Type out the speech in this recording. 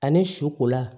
Ani su kola